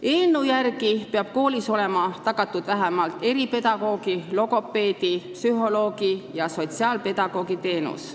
Eelnõu järgi peab olema koolis tagatud vähemalt eripedagoogi, logopeedi, psühholoogi ja sotsiaalpedagoogi teenus.